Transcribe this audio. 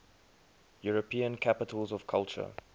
european capitals of culture